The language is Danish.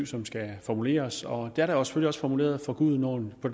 som skal formuleres og det er der selvfølgelig også formuleret for gudenåen og